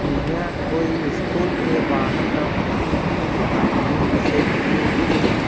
यह कोई स्कूल के बाहर का फोटो है यहां तीन बसें लगी हुई है।